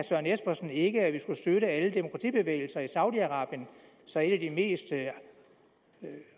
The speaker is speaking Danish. søren espersen ikke at vi skulle støtte alle demokratibevægelser i saudi arabien så et af de mest